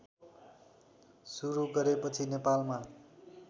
सुरू गरेपछि नेपालमा